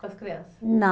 Com as criança?